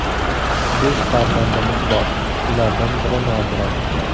Besh farzandimiz bor, ulardan biri nogiron.